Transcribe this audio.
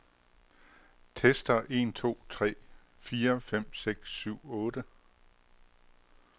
Tester en to tre fire fem seks syv otte.